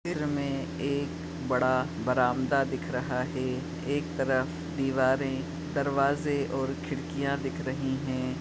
चित्र में एक बड़ा बरामदा दिख रहा है एक तरफ दिवारे दरवाजे और खिड़कियाँ दिख रही है।